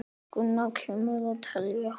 Hér skal tekið eitt dæmi.